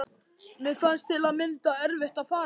Mér fannst til að mynda erfitt að fara þaðan.